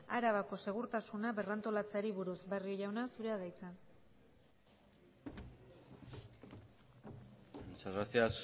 arabako segurtasuna berrantolatzeari buruz barrio jauna zurea da hitza muchas gracias